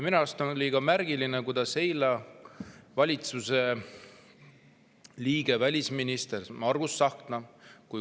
Minu arust oli ka märgiline, kuidas eile esines siin valitsuse liige, välisminister Margus Tsahkna.